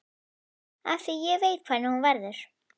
Af því ég veit hvernig hún verður.